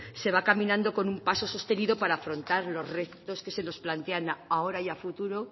se va caminando con un paso sostenido para afrontar los retos que se nos plantean ahora y a futuro